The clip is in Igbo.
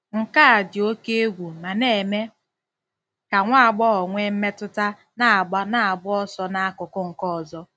Nke a dị oke egwu ma na-eme ka nwa agbọghọ nwee mmetụta na-agba na-agba ọsọ n'akụkụ nke ọzọ. ”